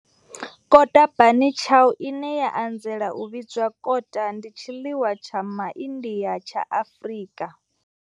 Kota, bunny chow, ine ya anzela u vhidzwa kota, ndi tshiḽiwa tsha MaIndia tsha Afrika.